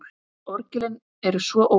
Orgelin eru svo ólík.